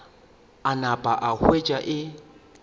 a napa a hwetša e